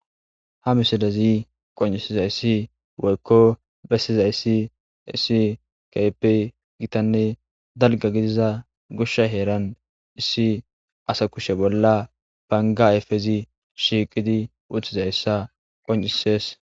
Ha misilezi qonccissizayssi woykko bessizayssi issi keehippe githanne dalgga gidiza goshhsa heeran issi asa kushe bolla bangga ayfezi shiiqizi uththizayssa qonccissees.